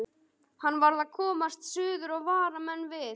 Hann varð að komast suður og vara menn við.